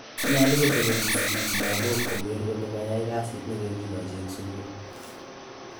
Nyolu kotelelchi sigiik lagok kogeer kole kayai kasit nekokigochi en sugul